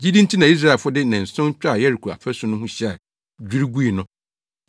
Gyidi nti na Israelfo de nnanson twaa Yeriko afasu ho hyia dwiriw gui no.